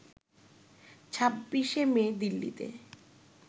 ২৬ মে দিল্লিতে